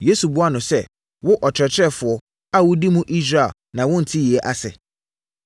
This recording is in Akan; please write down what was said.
Yesu buaa no sɛ, “Wo, ɔkyerɛkyerɛfoɔ a wodi mu Israel na wonte yei ase?